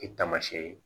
E taamasiyɛn ye